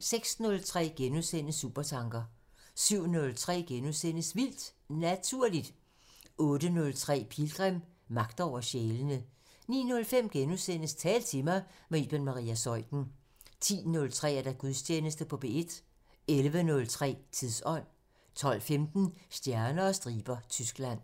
06:03: Supertanker * 07:03: Vildt Naturligt * 08:03: Pilgrim – Magt over sjælene 09:05: Tal til mig – med Iben Maria Zeuthen * 10:03: Gudstjeneste på P1 11:03: Tidsånd 12:15: Stjerner og striber – Tyskland